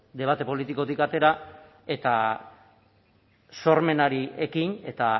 debate politikotik atera eta sormenari ekin eta